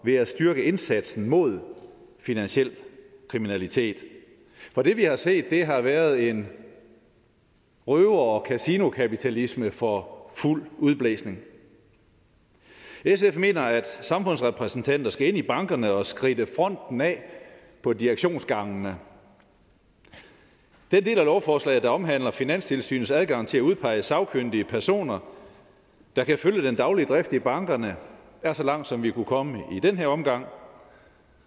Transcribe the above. ved at styrke indsatsen mod finansiel kriminalitet for det vi har set har været en røver og kasinokapitalisme for fuld udblæsning sf mener at samfundsrepræsentanter skal ind i bankerne og skridte fronten af på direktionsgangene den del af lovforslaget der omhandler finanstilsynets adgang til at udpege sagkyndige personer der kan følge den daglige drift i bankerne er så langt som vi kunne komme i den her omgang